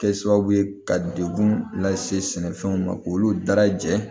Kɛ sababu ye ka degun lase sɛnɛfɛnw ma k'olu dara jɛ